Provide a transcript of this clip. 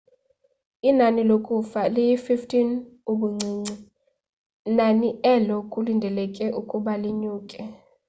inani lokufa liyi-15 ubuncinci nani elo kulindeleke ukuba linyuke